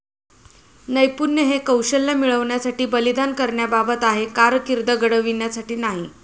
नैपुण्य हे कौशल्य मिळवण्यासाठी बलिदान करण्याबाबत आहे, कारकीर्द घडविण्यासाठी नाही.